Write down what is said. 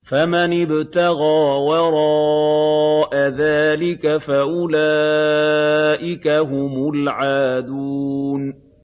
فَمَنِ ابْتَغَىٰ وَرَاءَ ذَٰلِكَ فَأُولَٰئِكَ هُمُ الْعَادُونَ